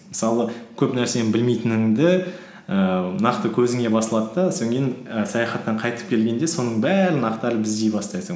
мысалы көп нәрсені білмейтініңді ііі нақты көзіңе басылады да і саяхаттан қайтып келгенде соның бәрін ақтарып іздей бастайсың